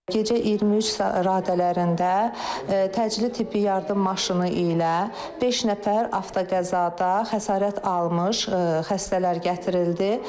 Gecə 23 radələrində təcili tibbi yardım maşını ilə beş nəfər avtoqəzada xəsarət almış xəstələr gətirildi.